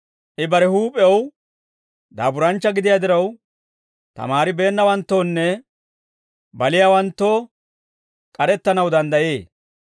I bare huup'ew daaburanchcha gidiyaa diraw, tamaaribeennawanttoonne baliyaawanttoo k'arettanaw danddayee.